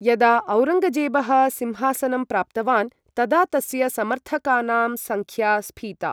यदा औरङ्गजेबः सिंहासनं प्राप्तवान् तदा तस्य समर्थकानां संख्या स्फीता।